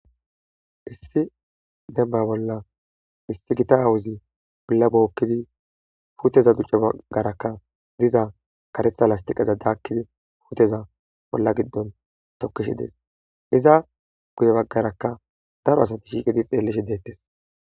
Issi denba bolla haysi gita awozi ola bokidi puteza ducara biza karetha lastiqeza dakidi puteza ola gidon tokishe des iza guyreaka bagaraka daro asati xelishe detes